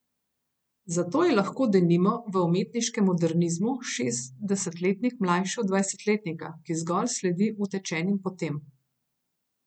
Zato je lahko, denimo, v umetniškem modernizmu šestdesetletnik mlajši od dvajsetletnika, ki zgolj sledi utečenim potem.